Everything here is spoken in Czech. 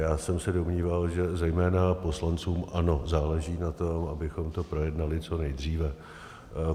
Já jsem se domníval, že zejména poslancům ANO záleží na tom, abychom to projednali co nejdříve.